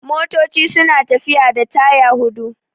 Motoci suna tafiya da taya hudu